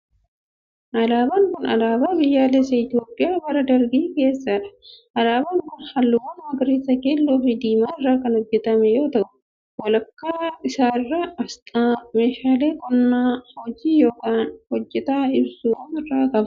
Alaabaan kun, alaabaa biyyaalessaa Itoophiyaa bara dargii keessaa dha. Alaabaan kun halluuwwan magariisa, keelloo fi diimaa irraa kan hojjatame yoo ta'u ,walakkaa isaa irraa asxaa meeshaalee qonnaa hojii yookin hojjataa ibsu of irraa qaba.